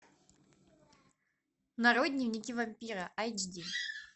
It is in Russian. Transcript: нарой дневники вампира айч ди